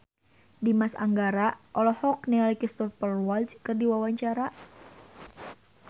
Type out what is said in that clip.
Dimas Anggara olohok ningali Cristhoper Waltz keur diwawancara